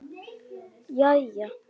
Jæja?